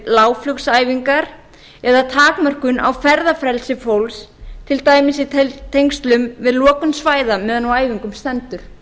lágflugsæfingar eða takmörkun á ferðafrelsi fólks til dæmis í tengslum við lokun svæða meðan á æfingum stendur